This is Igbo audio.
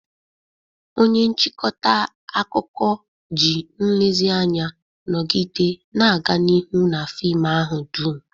Onye nchịkọta akụkọ ji nlezianya nọgide na-aga n'ihu na fim ahụ dum.